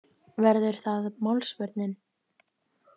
Verður það málsvörnin?